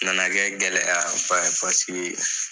na na kɛ gɛlɛya ba ye paseke